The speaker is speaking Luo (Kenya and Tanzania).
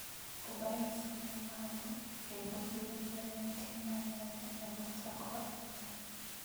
Obayo siling malo kendo ,giwinjore ni tim mar Nyanya ema chako adhula.